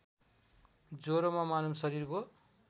ज्वरोमा मानव शरीरको